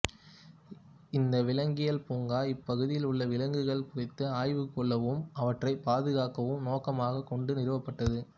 இந்த விலங்கியல் பூங்கா இப்பகுதியில் உள்ள விலங்குகள் குறித்து ஆய்வு கொள்ளவும் அவற்றைப் பாதுகாக்கவும் நோக்கமாகக் கொண்டு நிறுவப்பட்டது